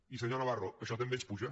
i senyor navarro això també ens puja